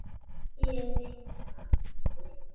Ég reyni aftur